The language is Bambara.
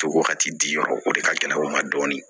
To wagati di yɔrɔ o de ka gɛlɛ o ma dɔɔni